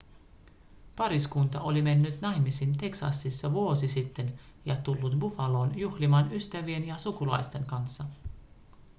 pariskunta oli mennyt naimisiin teksasissa vuosi sitten ja tullut buffaloon juhlimaan ystävien ja sukulaisten kanssa